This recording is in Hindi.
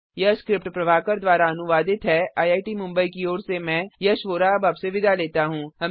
यह स्क्रिप्ट प्रभाकर द्वारा अनुवादित है आईआईटी मुंबई की ओर से मैं यश वोरा अब आपसे विदा लेता हूँ